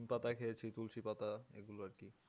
নিম পাতা খেয়েছি তুলসী পাতা এগুলো আর কি